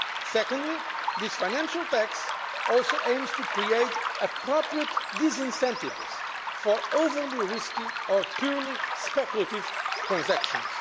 Secondly, this financial tax also aims to create appropriate disincentives for overly risky or purely speculative transactions.